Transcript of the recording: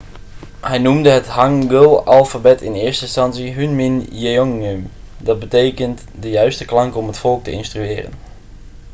hij noemde het hangeulalfabet in eerste instantie hunmin jeongeum dat betekent de juiste klanken om het volk te instrueren'